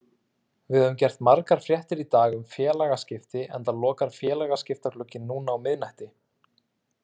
Við höfum gert margar fréttir í dag um félagaskipti enda lokar félagaskiptaglugginn núna á miðnætti.